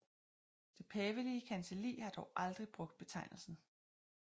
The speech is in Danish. Det pavelige kancelli har dog aldrig brugt betegnelsen